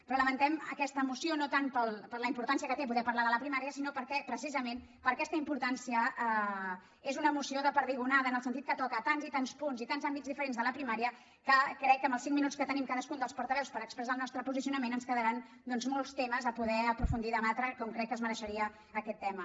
però lamentem aquesta moció no tant per la importància que té poder parlar de la primària sinó perquè precisament per aquesta importància és una moció de perdigonada en el sentit que toca tants i tants punts i tants àmbits diferents de la primària que crec que amb els cinc minuts que tenim cadascun dels portaveus per expressar el nostre posicionament ens quedaran doncs molts temes a poder aprofundir i debatre com crec que es mereixeria aquest tema